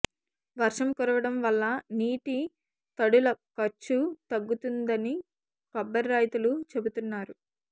వర్షం కురవడం వల్ల నీటి తడుల ఖర్చు తగ్గుతుందని కొబ్బరి రైతులు చెబుతున్నారు